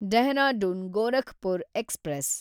Dehradun Gorakhpur express